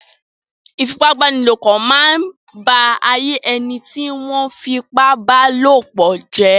Ìfipábánilòpọ̀ máa ń ba ayé ẹni tí wọ́n fipábálòpọ̀ jẹ́.